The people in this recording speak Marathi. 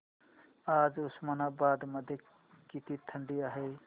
आज उस्मानाबाद मध्ये किती थंडी आहे